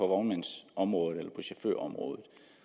vognmandsområdet eller på chaufførområdet